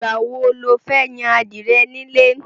Ìgbà wo lo fẹ́ yan adìẹ nílé?